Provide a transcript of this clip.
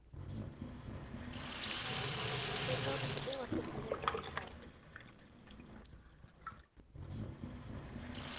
tenta kutsi ungakhukhuleki umhlaba